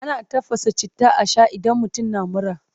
Ana tafasa citta a shaa idan mutum na mura.